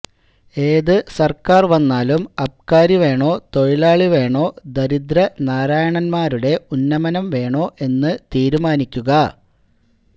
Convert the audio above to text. ഏത് സര്ക്കാര് വന്നാലും അബ്കാരി വേണോ തൊഴിലാളി വേണോ ദരിദ്രനാരായണന്മാരുടെ ഉന്നമനം വേണോ എന്ന് തീരുമാനിക്കുക